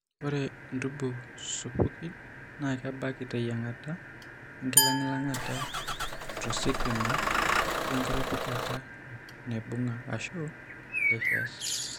Ore intubu supukin naa kebaki teyiang'ata, enkilang'ilang'ata tositima, enkiropijata naibung'a, ashu lasers.